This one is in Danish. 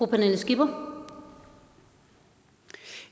af mennesker